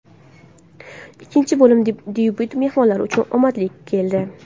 Ikkinchi bo‘lim debyuti mehmonlar uchun omadli keldi.